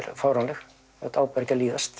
fáránleg þetta á bara ekki að líðast